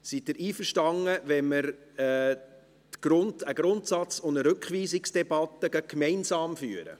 Sind Sie einverstanden, dass wir die Grundsatz- und Rückweisungsdebatte gleich gemeinsam führen?